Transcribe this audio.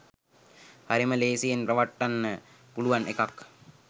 හරිම ලේසියෙන් රවට්ටන්න පුළුවන් එකක්